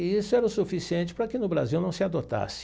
E isso era o suficiente para que no Brasil não se adotasse.